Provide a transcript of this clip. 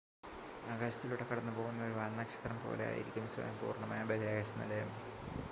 ആകാശത്തിലൂടെ കടന്നു പോകുന്ന ഒരു വാൽനക്ഷത്രം പോലെ ആയിരിക്കും സ്വയം പൂർണ്ണമായ ബഹിരാകാശ നിലയം